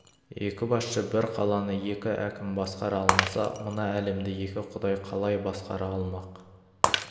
екі басшы бір қаланы екі әкім басқара алмаса мына әлемді екі құдай қалай басқара алмақ